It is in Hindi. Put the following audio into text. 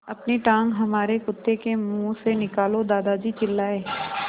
अपनी टाँग हमारे कुत्ते के मुँह से निकालो दादाजी चिल्लाए